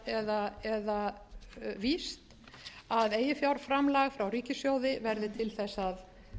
eða víst að eiginfjárframlag frá ríkissjóði verði til að